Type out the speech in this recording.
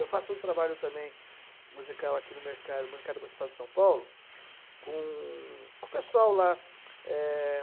Eu faço um trabalho também musical aqui no Mercado mercado Municipal de São Paulo com com o pessoal lá. É...